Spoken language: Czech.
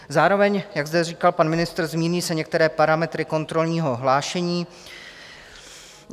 Zároveň, jak zde říkal pan ministr, se změní některé parametry kontrolního hlášení.